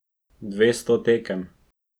Dvesto tekem.